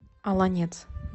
олонец